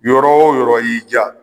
Yɔrɔ o yɔrɔ y'i diya